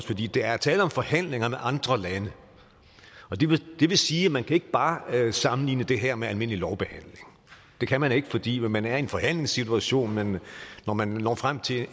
fordi der er tale om forhandlinger med andre lande og det vil sige at man ikke bare kan sammenligne det her med almindelig lovbehandling det kan man ikke fordi man er i en forhandlingssituation men når man når frem til